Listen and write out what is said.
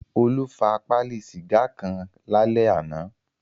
Olú fa pálí sìgá kan lálẹ́ àná.